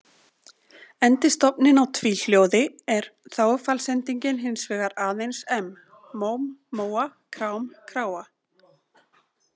Endi stofninn á tvíhljóði er þágufallsendingin hins vegar aðeins-m, móm-móa, krám- kráa.